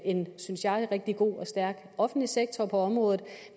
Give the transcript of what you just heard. en synes jeg rigtig god og stærk offentlig sektor på området